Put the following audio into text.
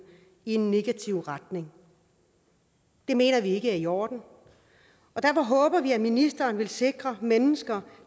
i en negativ retning det mener vi ikke er i orden og derfor håber vi at ministeren vil sikre at mennesker